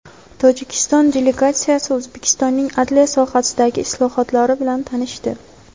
Tojikiston delegatsiyasi O‘zbekistonning adliya sohasidagi islohotlar bilan tanishdi.